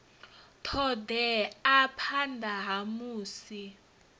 ṱo ḓea phanḓa ha musi